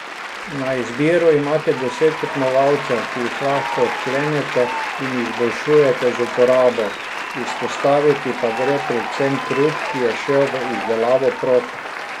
Na izbiro imate deset tekmovalcev, ki jih lahko odklenete in izboljšujete z uporabo, izpostaviti pa gre predvsem trud, ki je šel v izdelavo prog.